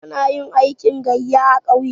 Ana yin aikin gayya a ƙauye.